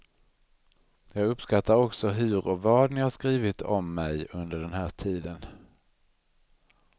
Jag uppskattar också hur och vad ni har skrivit om mig under den här tiden.